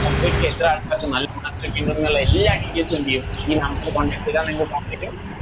Complete ചെയ്ത എത്ര ആൾക്കാർക്ക് നല്ല Mark കിട്ടിണ്ട്ന്നുള്ള എല്ലാ Details ഉം എന്ത്ചെയ്യും ഈ number Contact ചെയ്ത നിങ്ങൾക്ക് പറഞ്ഞേരും